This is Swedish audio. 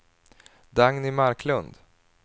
Dagny Marklund